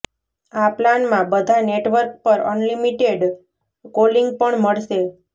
આ પ્લાનમાં બધા નેટવર્ક પર અનલિમિટેડ કોલિંગ પણ મળશે